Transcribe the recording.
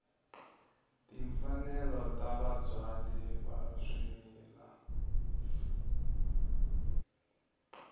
timfanelo ta vabyali va swimila